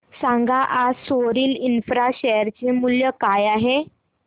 सांगा आज Soril Infra share चे मूल्य काय आहे